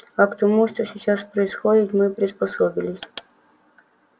а к тому что сейчас происходит мы приспособились